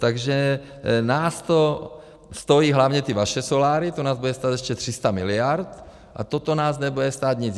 Takže nás to stojí, hlavně ty vaše soláry, to nás bude stát ještě 300 miliard, a toto nás nebude stát nic.